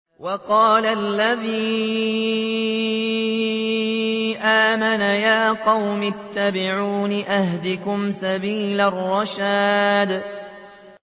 وَقَالَ الَّذِي آمَنَ يَا قَوْمِ اتَّبِعُونِ أَهْدِكُمْ سَبِيلَ الرَّشَادِ